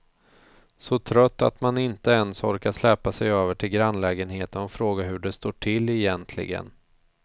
Så trött att man inte ens orkar släpa sig över till grannlägenheten och fråga hur det står till egentligen.